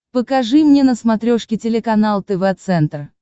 покажи мне на смотрешке телеканал тв центр